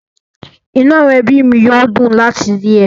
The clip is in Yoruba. Inú àwọn ẹbí mi yóò dùn láti rí ẹ